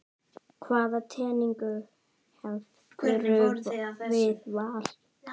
Hvaða tengingu hefurðu við Val?